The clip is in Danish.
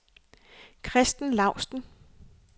Christen Laustsen